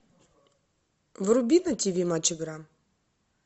вруби на тиви матч игра